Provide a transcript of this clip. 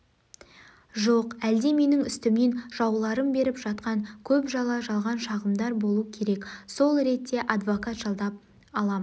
жоқ әлде менің үстімнен жауларым беріп жатқан көп жала жалған шағымдар болу керек сол ретте адвокат жалдап алам